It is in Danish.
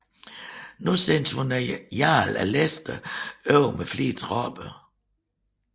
Nu sendte hun jarlen af Leicester over med flere tropper